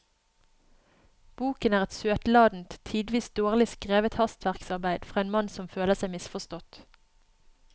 Boken er et søtladent, tidvis dårlig skrevet hastverksarbeid fra en mann som føler seg misforstått.